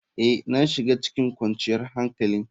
Ee, na shiga cikin kwanciyar hankali.